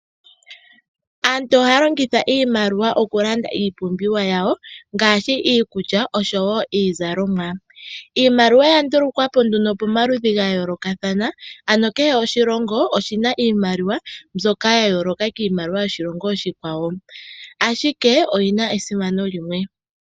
Aantu ohaya longitha iimaliwa okulanda iipumbiwa yawo ngaashi iikulya oshowo iizalomwa. Iimaliwa oya ndulukwa po nduno pomaludhi ga yoolokathana, ano kehe oshilongo oshina iimaliwa mbyoka ya yooloka kiimaliwa yoshilongo oshikwawo. Ashike oyi na esimano limwe.